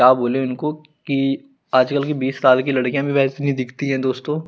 क्या बोले इनको की आज कल की बीस साल की लडकिया भी वेसी ही दिखती है दोस्तों--